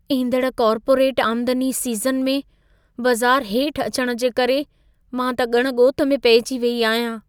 ईंदड़ कॉर्पोरेट आमदनी सीज़न में, बज़ार हेठि अचण जे करे मां त ॻण ॻोत में पहिजी वेई आहियां।